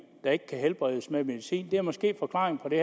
der ikke kan helbredes med medicin det er måske forklaringen på det